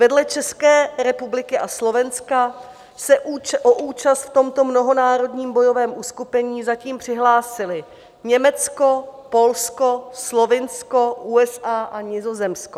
Vedle České republiky a Slovenska se o účast v tomto mnohonárodním bojovém uskupení zatím přihlásily: Německo, Polsko, Slovinsko, USA a Nizozemsko.